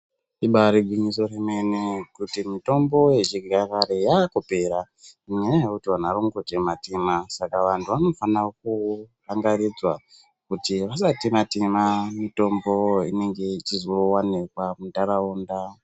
Ibari gwinyiso remene kuti mutombo yechinyakare yakupera nenyaya yekuti vantu vari kungotema tema saka vantu vanofana kurangaridzwa kuti vasatema mutombo inenge ichizowanikwa muntaraunda.